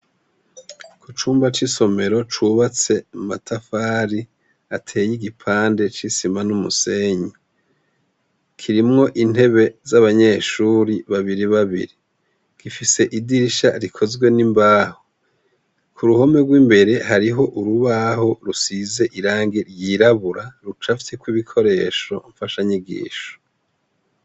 Icumba c'isomero cubatse muma tafari ateye igipande cisima n'umusenyi. Kirimwo intebe z'abanyeshure babiri babiri gifise idirisha rikozwe nimbaho kuruhome rw'imbere hariho urubaho rusize irangi ryiraburabura rucafyeko ibikoresho mfasha nyigisho.